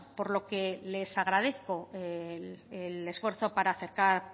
por lo que les agradezco el esfuerzo para acercar